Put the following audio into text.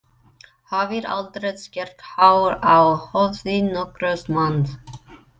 Hafi aldrei skert hár á höfði nokkurs manns.